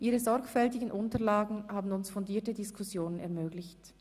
Ihre sorgfältigen Unterlagen haben uns fundierte Diskussionen ermöglicht.